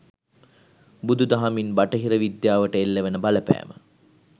බුදු දහමින් බටහිර විද්‍යාවට එල්ල වන බලපෑම